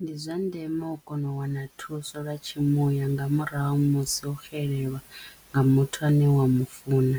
Ndi zwa ndeme u kono u wana thuso lwa tshimuya nga murahu musi o xelelwa nga muthu ane wa mufuna